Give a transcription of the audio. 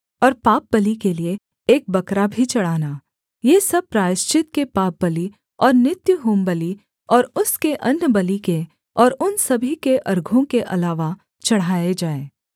और पापबलि के लिये एक बकरा भी चढ़ाना ये सब प्रायश्चित के पापबलि और नित्य होमबलि और उसके अन्नबलि के और उन सभी के अर्घों के अलावा चढ़ाए जाएँ